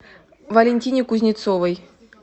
валентине кузнецовой